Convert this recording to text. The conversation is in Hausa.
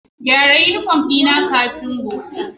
Gyara uniform dina kafin gobe